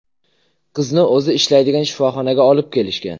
Qizni o‘zi ishlaydigan shifoxonaga olib kelishgan.